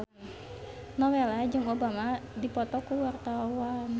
Nowela jeung Obama keur dipoto ku wartawan